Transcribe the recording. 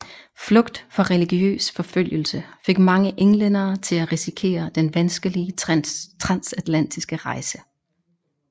Flugt fra religiøs forfølgelse fik mange englændere til at risikere den vanskelige transatlantiske rejse